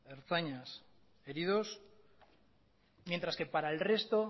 ertzainas heridos mientras que para el resto